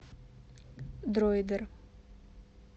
дроидер